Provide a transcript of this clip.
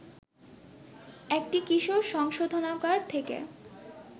একটি কিশোর সংশোধনাগার থেকে